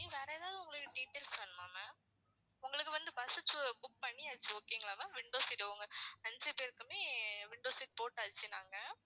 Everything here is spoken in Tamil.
வேற ஏதாவது உங்களுக்கு details வேணுமா ma'am உங்களுக்கு வந்து bus book பண்ணியாச்சு okay ங்களா ma'am window seat உங்க அஞ்சு பேருக்குமே window seat போட்டாச்சு நாங்க